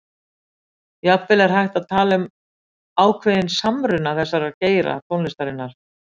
Jafnvel er hægt að tala um ákveðinn samruna þessara geira tónlistarinnar.